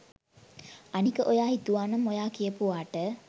අනික ඔයා හිතුවානම් ඔයා කියපුවාට